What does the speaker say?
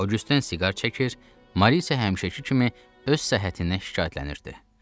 Oqüsten siqar çəkir, Mari isə həmişəki kimi öz səhhətindən şikayətlənirdi.